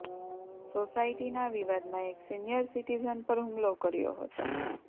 સોસાયટીના વિવાદમા એક સીનીયર સિટીઝન પર હુમલો કર્યો હતો